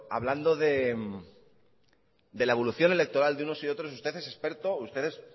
hablando de la evolución electoral de unos y otros usted es experto usted es